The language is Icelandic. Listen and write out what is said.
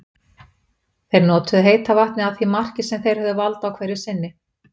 Þeir notuðu heita vatnið að því marki sem þeir höfðu vald á hverju sinni.